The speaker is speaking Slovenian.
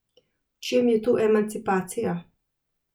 V čem je tu emancipacija?